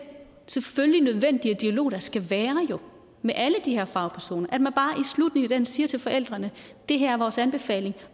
selvfølgelig nødvendige dialog der jo skal være med alle de her fagpersoner siger til forældrene det her er vores anbefaling